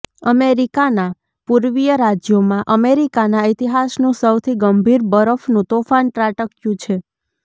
અમેરિકાના પૂર્વીય રાજ્યોમાં અમેરિકાના ઇતિહાસનું સૌથી ગંભીર બરફનું તોફાન ત્રાટક્યું છે